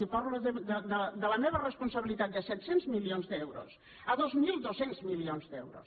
i parlo de la meva responsabilitat de set cents milions d’euros a dos mil dos cents milions d’euros